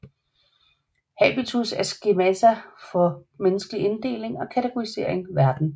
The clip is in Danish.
Habitus er skemata for menneskelig inddeling og kategorisering verden